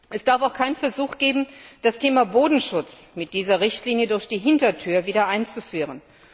Es darf auch keinen Versuch geben, das Thema Bodenschutz mit dieser Richtlinie durch die Hintertür wieder einzuführen.